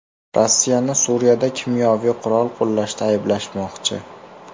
Rossiyani Suriyada kimyoviy qurol qo‘llashda ayblashmoqchi.